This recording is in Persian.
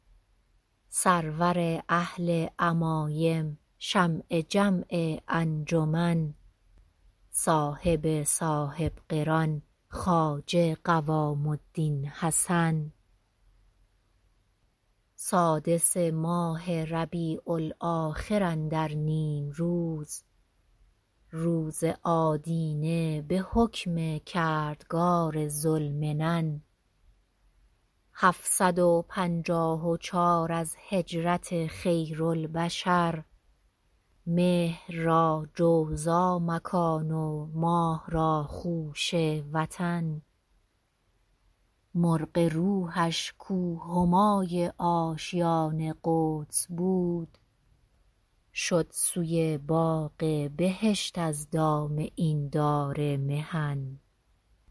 سرور اهل عمایم شمع جمع انجمن صاحب صاحب قران خواجه قوام الدین حسن سادس ماه ربیع الاخر اندر نیم روز روز آدینه به حکم کردگار ذوالمنن هفت صد و پنجاه و چار از هجرت خیرالبشر مهر را جوزا مکان و ماه را خوشه وطن مرغ روحش کـ او همای آشیان قدس بود شد سوی باغ بهشت از دام این دار محن